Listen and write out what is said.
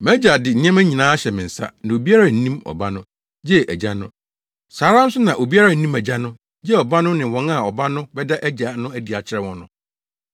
“Mʼagya de nneɛma nyinaa ahyɛ me nsa; na obiara nnim Ɔba no, gye Agya no. Saa ara nso na obiara nnim Agya no, gye Ɔba no ne wɔn a Ɔba no bɛda Agya no adi akyerɛ wɔn no.”